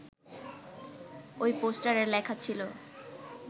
ওই পোস্টারে লেখা ছিল